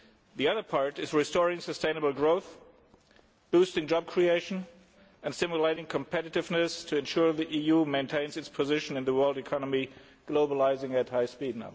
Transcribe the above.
The other part is restoring sustainable growth, boosting job creation and stimulating competiveness to ensure the EU maintains its position in a world economy that is now globalising at high speed.